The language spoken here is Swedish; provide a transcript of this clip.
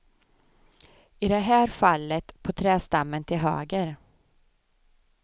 I det här fallet på trädstammen till höger.